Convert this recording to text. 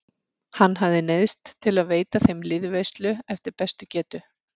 Hann hafði neyðst til að veita þeim liðveislu eftir bestu getu.